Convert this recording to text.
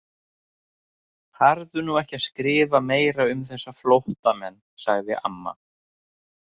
Farðu nú ekki að skrifa meira um þessa flóttamenn, sagði amma.